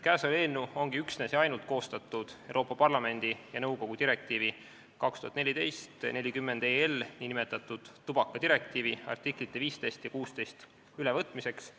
Eelnõu ongi koostatud üksnes ja ainult Euroopa Parlamendi ja nõukogu direktiivi 2014/40/EL, nn tubakadirektiivi artiklite 15 ja 16 ülevõtmiseks.